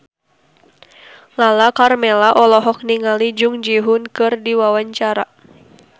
Lala Karmela olohok ningali Jung Ji Hoon keur diwawancara